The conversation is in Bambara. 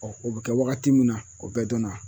o be kɛ wagati min na o bɛɛ dɔnna.